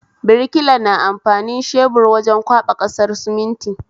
Birkila na amfani shebur wajen kwaɓa ƙasar suminti